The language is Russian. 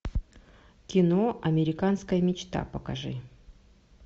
кино американская мечта покажи